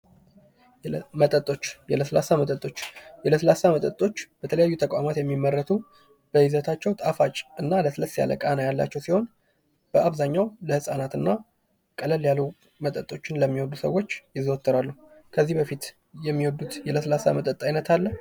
መጠጦች የለስላሳ መጠጦች የለስላሳ መጠጦች በተለያየ ተቋማት የሚመረቱ በይዘታቸው ጣፋጭና ለስለስ ያለ ቃና ያላቸው ሲሆን በአብዛኛው ለህጻናት እና ቀለል ያሉ መጠጦችን ለሚወዱ ሰዎች ይዘዎተራሉ። ከዚህ በፊት የሚወዱት የለስላሳ መጠጥ አይነት አለ?